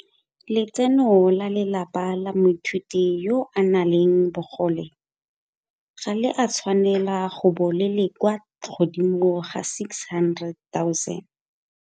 Letseno la lelapa la moithuti yo a nang le bogole ga le a tshwanela go bo le le kwa godimo ga R600 000.